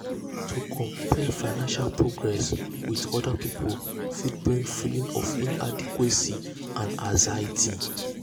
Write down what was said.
to compare financial progress with um other um pipul fit bring feelings of inadequacy and anxiety.